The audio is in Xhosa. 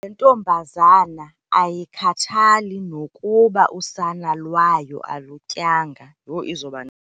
Le ntombazana ayikhathali nokuba usana lwayo alutyanga. Yho!